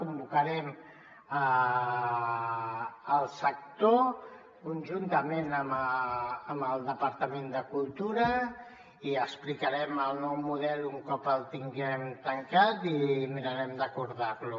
convocarem el sector conjuntament amb el departament de cultura i explicarem el nou model un cop el tinguem tancat i mirarem d’acordar lo